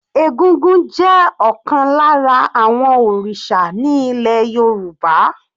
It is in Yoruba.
Egúngún jẹ́ ọ̀kan lára àwọn òrìṣà ní ilẹ̀ Yorùbá.